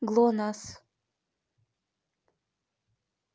глонассс